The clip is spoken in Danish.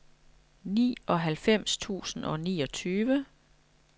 nioghalvfems tusind og niogtyve